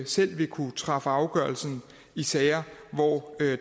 selv vil kunne træffe afgørelse i sager hvor